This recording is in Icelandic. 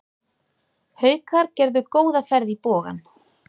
Haukar gerðu góða ferð í Bogann